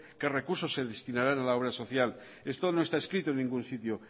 qué recursos se destinarán a la obra social esto no está escrito en ningún sitio